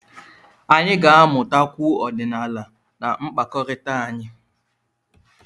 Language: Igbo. Anyị ga-amụtakwu ọdịnala na mkpakọrịta anyị.